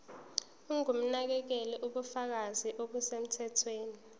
ongumnakekeli ubufakazi obusemthethweni